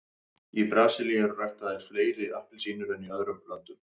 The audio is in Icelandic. í brasilíu eru ræktaðar fleiri appelsínur en í öðrum löndum